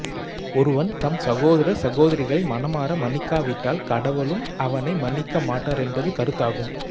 ஒருவன் தம் சகோதரர் சகோதரிகளை மனமார மன்னிக்கா விட்டால் கடவுளும் அவனை மன்னிக்க மாட்டார் என்பது கருத்தாகும்